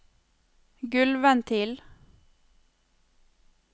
gulvventil